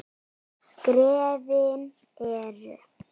Skrefin eru